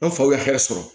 An faw ye hɛrɛ sɔrɔ